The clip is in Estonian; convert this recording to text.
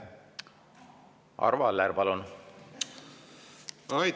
Arvo Aller, palun!